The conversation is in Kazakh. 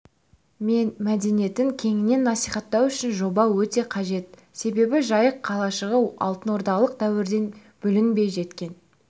мен мәдениетін кеңінен насихаттау үшін жоба өте қажет себебі жайық қалашығы алтын ордалық дәуірден бүлінбей жеткен